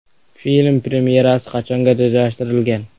Film premyerasi qachonga rejalashtirilgan?